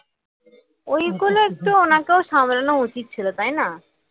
ওইগুলো একটু ওনাকেও সামলানো উচিত ছিল তাই না